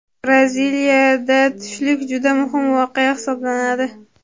Braziliyada tushlik juda muhim voqea hisoblanadi.